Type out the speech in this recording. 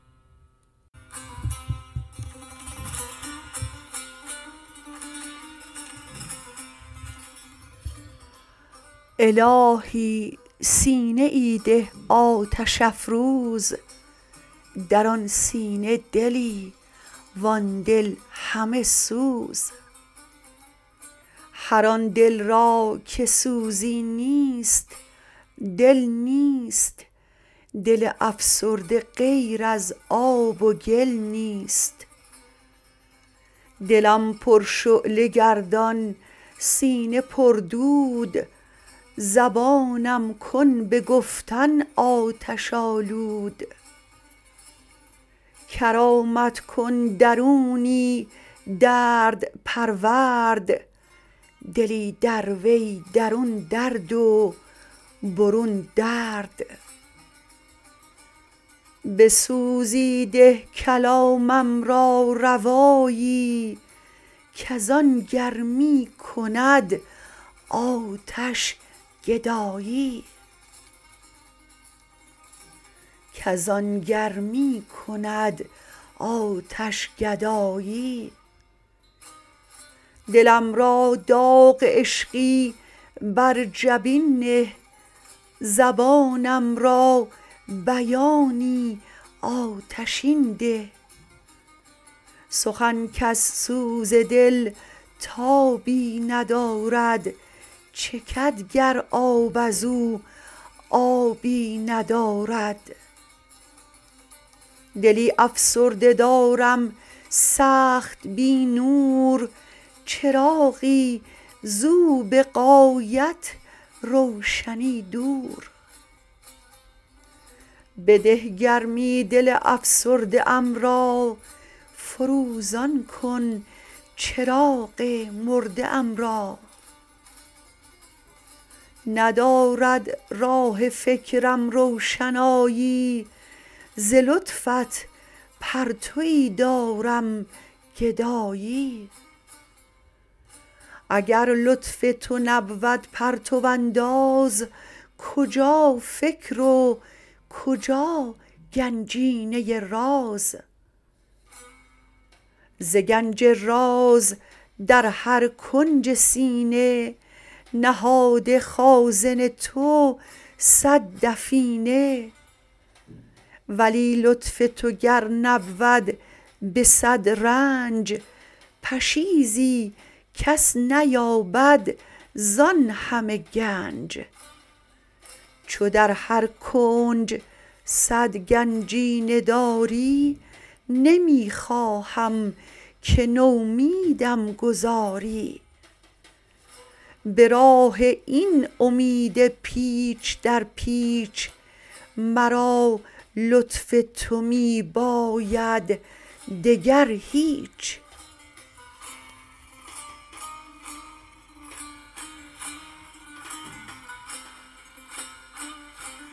الهی سینه ای ده آتش افروز در آن سینه دلی وان دل همه سوز هر آن دل را که سوزی نیست دل نیست دل افسرده غیر از آب و گل نیست دلم پرشعله گردان سینه پردود زبانم کن به گفتن آتش آلود کرامت کن درونی درد پرورد دلی در وی درون درد و برون درد به سوزی ده کلامم را روایی کز آن گرمی کند آتش گدایی دلم را داغ عشقی بر جبین نه زبانم را بیانی آتشین ده سخن کز سوز دل تابی ندارد چکد گر آب ازو آبی ندارد دلی افسرده دارم سخت بی نور چراغی زو به غایت روشنی دور بده گرمی دل افسرده ام را فروزان کن چراغ مرده ام را ندارد راه فکرم روشنایی ز لطفت پرتویی دارم گدایی اگر لطف تو نبود پرتو انداز کجا فکر و کجا گنجینه راز ز گنج راز در هر کنج سینه نهاده خازن تو صد دفینه ولی لطف تو گر نبود به صد رنج پشیزی کس نیابد زان همه گنج چو در هر کنج صد گنجینه داری نمی خواهم که نومیدم گذاری به راه این امید پیچ در پیچ مرا لطف تو می باید دگر هیچ